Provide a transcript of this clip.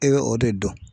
E bɛ o de dɔn